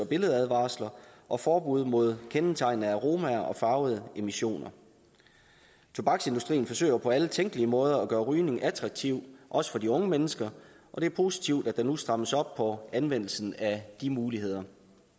billedadvarsler og forbud mod kendetegnende aromaer og farvede emissioner tobaksindustrien forsøger på alle tænkelige måder at gøre rygning attraktivt også for de unge mennesker og det er positivt at der nu strammes op på anvendelsen af de muligheder